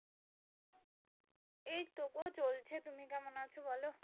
এইতো গো চলছে তুমি কেমন আছো বোলো?